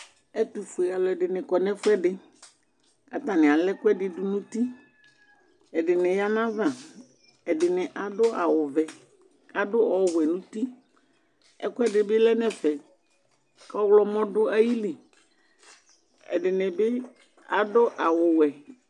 Ɛtufue aluɛdini kɔ nu ɛfuɛdi atani alaɛkuɛdi du nu uti ɛdini yanava ɛdini adu awu vɛ adu ɔwɛ nu uti ɛkuɛdi bi lɛ nu ɛfɛ ɔɣlomɔ du ayili ɛdinibi adu awu wɛ